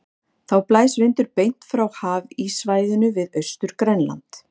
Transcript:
Þá blæs vindur beint frá hafíssvæðinu við Austur-Grænland.